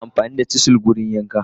Ana amfani da chisels a yankan..